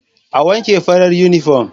A wanke farar yunifom.